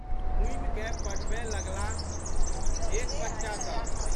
घुमिकए पढ़बए लगलाहः देख बच्चासब।